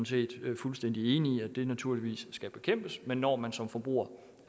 set er fuldstændig enige i at det naturligvis skal bekæmpes men når man som forbruger